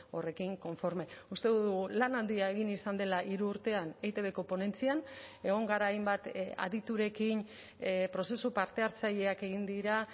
horrekin konforme uste dugu lan handia egin izan dela hiru urtean eitbko ponentzian egon gara hainbat aditurekin prozesu parte hartzaileak egin dira